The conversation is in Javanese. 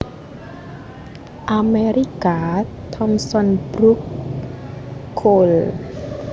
Amerika Thomson Brook/ Cole